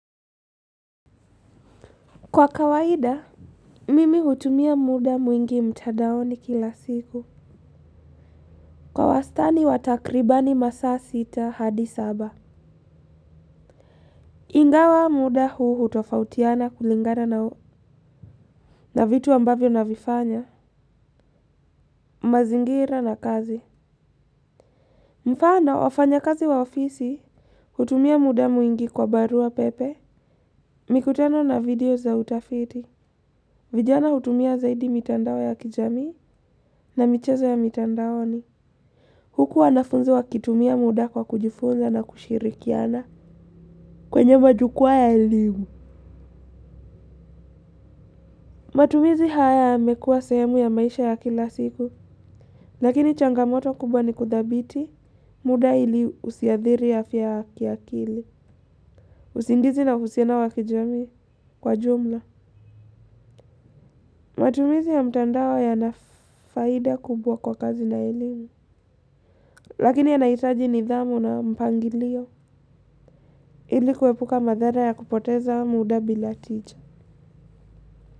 Kwa kawaida, mimi hutumia muda mwingi mtandaoni kila siku kwa wastani wa takribani masaa sita hadi saba. Ingawa muda huu hutofautiana kulingana na vitu ambavyo navifanya mazingira na kazi. Mfano wafanyakazi wa ofisi, hutumia muda mwingi kwa barua pepe. Mikutano na video za utafiti vijana hutumia zaidi mitandao ya kijamii na michezo ya mitandaoni huku wanafunzi wakitumia muda kwa kujifunza na kushirikiana kwenye majukwaa ya elimu. Matumizi haya yamekuwa sehemu ya maisha ya kila siku. Lakini changamoto kubwa ni kudhibiti muda ili usiathiri afya ya kiakili. Usingizi na uhusiano wa kijamii kwa jumla. Matumizi ya mtandao ya nafaida kubwa kwa kazi na ilimu. Lakini yanahitaji nidhamu na mpangilio. Ili kuepuka madhara ya kupoteza muda bila tija.